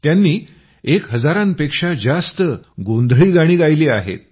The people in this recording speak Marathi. त्यांनी एक हजारांपेक्षा जास्त गोंधळी गाणी गायली आहेत